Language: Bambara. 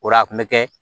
O la a kun mi kɛ